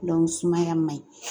sumaya man ɲi